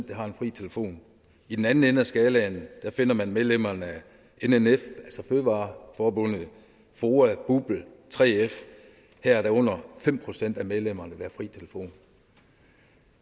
der har fri telefon i den anden ende af skalaen finder man medlemmerne af nnf altså fødevareforbundet foa bupl 3f og her er der under fem procent af medlemmerne har fri telefon